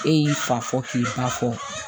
E y'i fa fɔ k'i ba fɔ